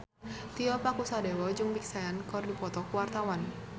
Tio Pakusadewo jeung Big Sean keur dipoto ku wartawan